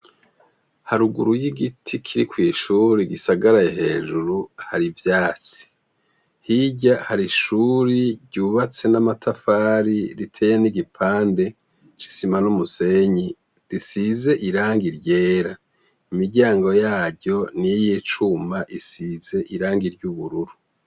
Haruguru y'igiti kiri kw'ishuri gisagaraye hejuru hari ivyatsi hirya hari ishuri ryubatse n'amatafari riteye n'igipande cisima n'umusenyi risize irangi ryera imiryango yaryo ni yo yicuma isize irangiwa yubururu.